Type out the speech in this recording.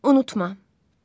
Unutma.